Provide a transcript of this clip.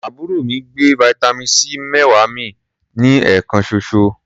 Àbúrò mi gbé vitamin C méwàá mì ní ẹ̀ẹ̀kan ṣoṣo.